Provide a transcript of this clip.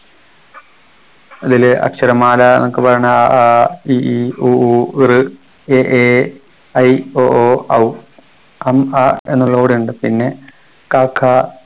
ഇതില് അക്ഷരമാല ന്നൊക്കെ പറയണത് അ ആ ഇ ഈ ഉ ഊ ഋ എ ഏ ഐ ഒ ഓ ഔ അം അ എന്നുള്ളോ കൂടി ഉണ്ട് പിന്നെ ക ഖ